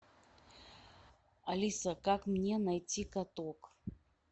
алиса как мне найти каток